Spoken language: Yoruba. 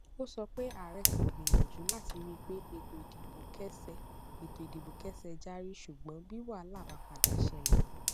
ó sọ pé ààrẹ ti gbìyànjú láti ríi pé ètò ìdìbò kẹsẹ ètò ìdìbò kẹsẹ járí ṣùgbọn bí wàhálà bá padà ṣẹlẹ